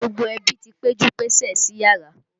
Gbogbo ẹbí ti péjú pésè síyàrá.